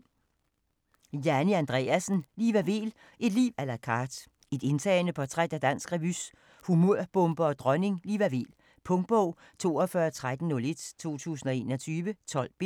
Andreassen, Janni: Liva Weel - et liv à la carte Et indtagende portræt af dansk revys humørbombe og dronning - Liva Weel. Punktbog 421301 2021. 12 bind.